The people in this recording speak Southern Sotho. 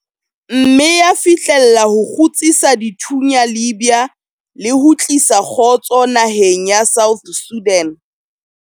mme ya fihlella ho kgutsisa dithunya Libya le ho tlisa kgotso naheng ya South Sudan.